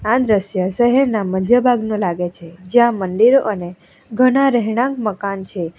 આ દ્રશ્ય શહેરના મધ્ય ભાગનું લાગે છે જ્યાં મંદિરો અને ઘણા રહેણાંક મકાન છે.